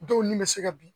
Dɔw ni bɛ se ka bin